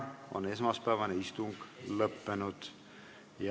Esmaspäevane istung on lõppenud.